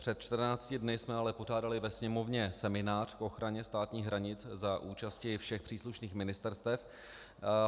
Před 14 dny jsme ale pořádali ve Sněmovně seminář k ochraně státních hranic za účasti všech příslušných ministerstev.